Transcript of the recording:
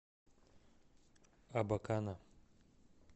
абакана